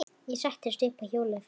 Ég settist upp á hjólið.